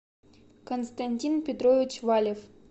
константин петрович валев